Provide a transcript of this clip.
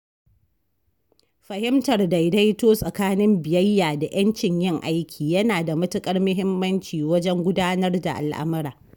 Fahimtar daidaito tsakanin biyayya da 'yancin yin aiki yana da matuƙar muhimmanci wajen gudanar da al'amura.